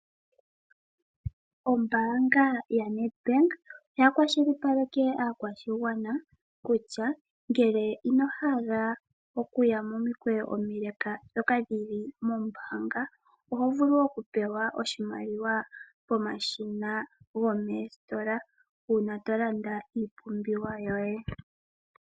Ombaanga yaNEDBANK oya kwashilipaleke aakwashigwana kutya ngele ino hala wuye momikweyo omileeleeka ndhoka dhili mombaanga, oho vulu oku pewa oshimaliwa pomashina gomoositola uuna to landa iipumbiwa yoye.